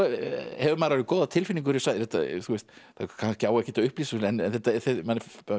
hefur maður góða tilfinningu fyrir það á kannski ekkert að upplýsa þetta en manni